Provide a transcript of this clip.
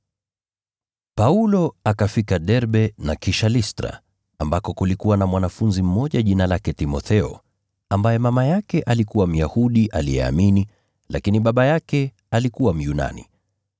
Paulo akafika Derbe na kisha Listra, ambako kulikuwa na mwanafunzi mmoja jina lake Timotheo, ambaye mama yake alikuwa Myahudi aliyeamini, lakini baba yake alikuwa Myunani.